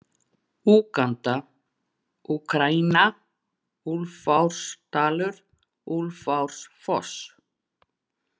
Úganda, Úkraína, Úlfarsárdalur, Úlfarsárfoss